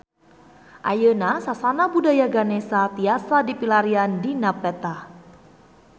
Ayeuna Sasana Budaya Ganesha tiasa dipilarian dina peta